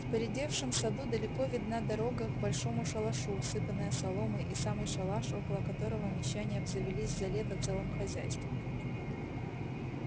в поредевшем саду далеко видна дорога к большому шалашу усыпанная соломой и самый шалаш около которого мещане обзавелись за лето целым хозяйством